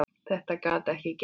Þetta gat ekki gengið svona.